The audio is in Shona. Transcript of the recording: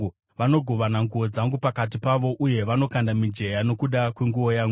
Vanogovana nguo dzangu pakati pavo uye vanokanda mijenya nokuda kwenguo yangu.